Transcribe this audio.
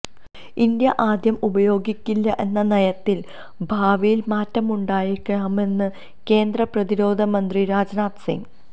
India ആദ്യം ഉപയോഗിക്കില്ല എന്ന നയത്തിൽ ഭാവിയിൽ മാറ്റമുണ്ടായേക്കാമെന്ന് കേന്ദ്ര പ്രതിരോധ മന്ത്രി രാജ്നാഥ് സിങ്